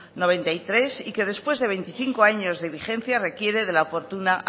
noventa y tres y que después de veinticinco años de vigencia requiere de la oportuna